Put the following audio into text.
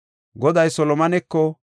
Goday Solomoneko,